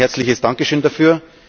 Ein herzliches Dankeschön dafür.